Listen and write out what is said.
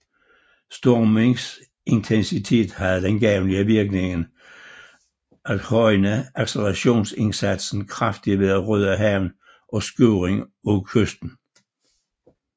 Stormens intensitet havde den gavnlige virkning at højne accelerationsindsatsen kraftigt ved at rydde havnen og skuring af kysten